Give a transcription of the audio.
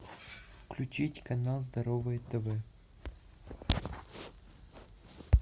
включить канал здоровое тв